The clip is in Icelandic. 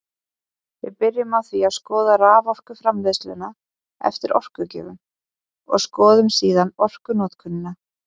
Við byrjum á því að skoða raforkuframleiðsluna eftir orkugjöfum og skoðum síðan orkunotkunina.